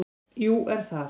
Jú það er